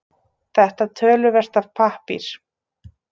Þetta töluvert af pappír